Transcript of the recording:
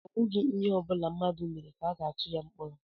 Ọ bụghị ihe ọbula mmadụ mere ka a ga-atu ya mkpọrọ